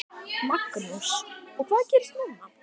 Magnús: Og hvað gerist núna?